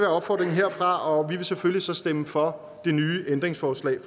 opfordringen herfra og vi vil selvfølgelig så stemme for det nye ændringsforslag